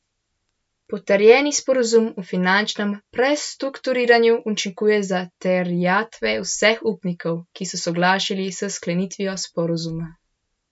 Potrjeni sporazum o finančnem prestrukturiranju učinkuje za terjatve vseh upnikov, ki so soglašali s sklenitvijo sporazuma.